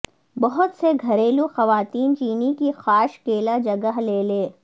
بہت سے گھریلو خواتین چینی کی قاش کیلا جگہ لے لے